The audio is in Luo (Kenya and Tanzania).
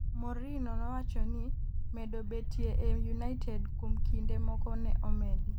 Mourihno nowacho ni medo betie e United kuom kinde moko ne omedi